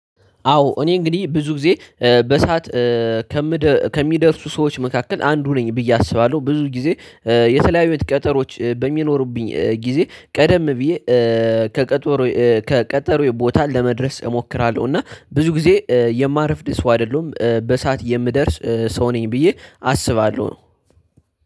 አዎ እኔ እንግዲህ ብዙ ጊዜ በሳት ከሚደርሱ ሰዎች መካከል አንዱ ነኝ ብዬ አስባለሁ። ብዙ ጊዜ የተለያዩ ቤት ቀጠሮዎች በሚኖሩብኝ ጊዜ ቀደም ብዬ ከቀጠሮዬ ከቀጠሮዬ ቦታ ለመድረስ እሞክራለሁ። እና ብዙ ጊዜ የማርፍድ ሰው አይደለሁም በሰአት የምደርስ ሰው ነኝ ብዬ አስባለሁ።